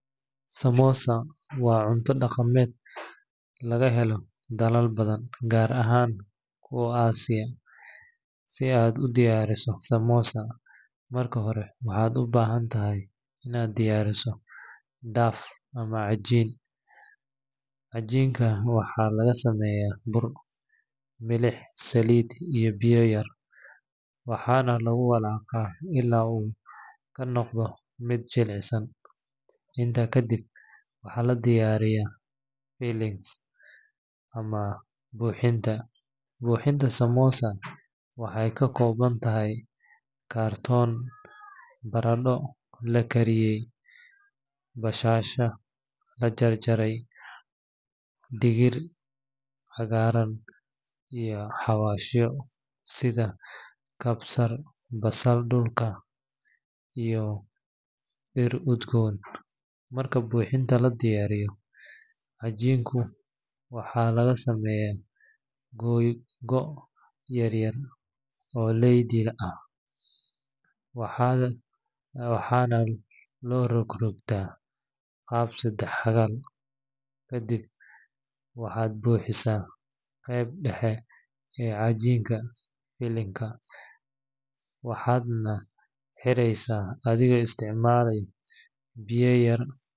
Samosa waa cunto dhaqameed laga helo dalal badan, gaar ahaan kuwa Aasiya. Si aad u diyaariso samosa, marka hore waxaad u baahan tahay inaad diyaariso dough ama cajiinka. Cajiinka waxaa laga sameeyaa bur, milix, saliid iyo biyo yar, waxaana lagu walaaqaa ilaa uu ka noqdo mid jilicsan. Intaa kadib, waxaa la diyaariyaa filling ama buuxinta. Buuxinta samosa waxay ka koobnaan kartaa baradho la kariyey, basasha la jarjaray, digir cagaaran, iyo xawaashyo sida kabsar, basal dhulka, iyo dhir udgoon. Marka buuxinta la diyaariyo, cajiinka waxaa laga sameeyaa googo’ yaryar oo leydi ah, waxaana loo rogrogtaa qaab saddex-xagal. Kadib waxaad buuxisaa qaybta dhexe ee cajiinka filling-ka, waxaadna xireysaa adigoo isticmaalaya biyo yar.